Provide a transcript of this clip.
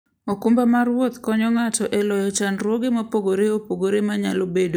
okumba mar wuoth konyo ng'ato e loyo chandruoge mopogore opogore manyalo bedoe e wuoth.